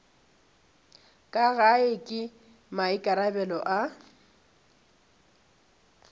ka gae ke maikarabelo a